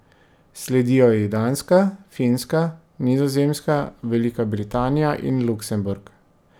Sledijo ji Danska, Finska, Nizozemska, Velika Britanija in Luksemburg.